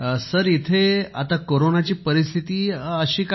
sir इथे आता कोरोनाची परिस्थिती अशी काही नाही